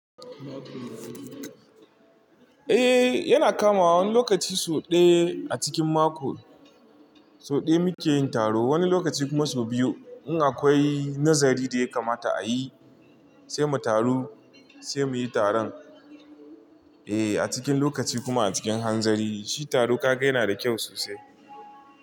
Eh yana kamawa wani lokaci sau ɗaya a cikin mako. So ɗaya muke yin taro, wani lokaci kuma so biyu. In akwai nazari da ya kamata a yi, sai mu taru, sai muyi taron. Eh a cikin lokaci kuma a cikin hanzari, shi taro ka ga yana da kyau sosai.